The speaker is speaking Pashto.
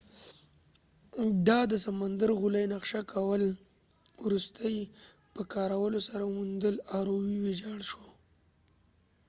د دسمندر غولی نقشه کول وروستې ویجاړ د rov په کارولو سره وموندل شو